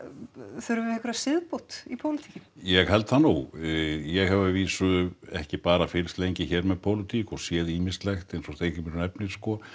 þurfum við einhverja siðbót í pólitíkinni ég held það nú ég hef að vísu ekki bara fylgst lengi hér með pólitík og séð ýmislegt eins og Steingrímur nefnir